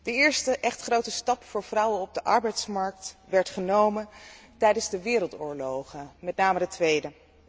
De eerste echt grote stap voor vrouwen op de arbeidsmarkt werd genomen tijdens de wereldoorlogen, met name de tweede.